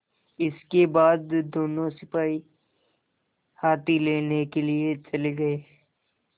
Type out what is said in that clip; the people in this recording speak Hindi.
इसके बाद दोनों सिपाही हाथी लेने के लिए चले गए